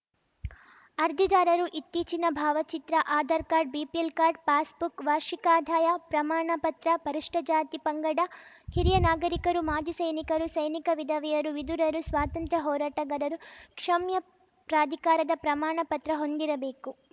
ಅರ್ಜಿದಾರರು ಇತ್ತೀಚಿನ ಭಾವಚಿತ್ರ Aadhaar card BPL card pass book ವಾರ್ಷಿಕ ಆದಾಯ ಪ್ರಮಾಣ ಪತ್ರ ಪರಿಷ್ಟಜಾತಿ ಪಂಗಡ ಹಿರಿಯ ನಾಗರೀಕರು ಮಾಜಿ ಸೈನಿಕರು ಸೈನಿಕ ವಿಧವೆಯರು ವಿಧುರರು ಸ್ವಾತಂತ್ರ್ಯ ಹೋರಾಟಗಾರರು ಕ್ಷಮ್ಯ ಪ್ರಾಧಿಕಾರದ ಪ್ರಮಾಣ ಪತ್ರ ಹೊಂದಿರಬೇಕು